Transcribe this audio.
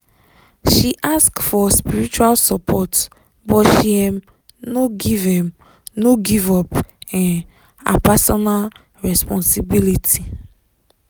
she ask for spiritual support but she um no give um no give up um her personal responsibility.